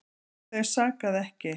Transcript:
Þau sakaði ekki